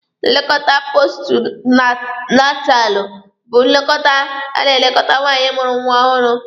Nlekọta postu natalụ bu nlekọta a na-elekọta nwaanyị mụrụ nwa ọhụrụ.